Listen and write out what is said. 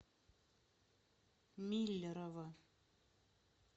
миллерово